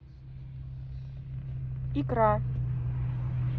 икра